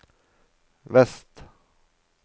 vest